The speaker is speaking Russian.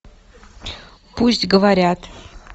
пусть говорят